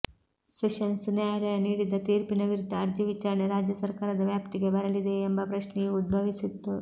sessions ನ್ಯಾಯಾಲಯ ನೀಡಿದ ತೀರ್ಪಿನ ವಿರುದ್ದ ಅರ್ಜಿ ವಿಚಾರಣೆ ರಾಜ್ಯಸರ್ಕಾರದ ವ್ಯಾಪ್ತಿಗೆ ಬರಲಿದೆಯೇ ಎಂಬ ಪ್ರಶ್ನೆಯೂ ಉದ್ಭವಿಸಿತ್ತು